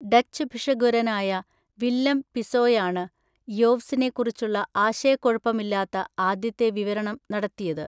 Dutch ഭിഷഗ്വരനായ Willem പിസോയാണ്, യോവ്സിനെക്കുറിച്ചുള്ള ആശയക്കുഴപ്പമില്ലാത്ത ആദ്യത്തെ വിവരണം നടത്തിയത്.